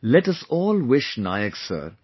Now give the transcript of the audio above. Come, let us all wish Nayak Sir